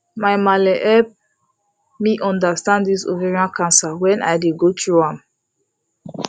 my malle help me understand this ovarian cancer when i dey go through am